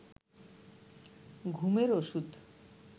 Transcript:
ঘুমের ঔষধ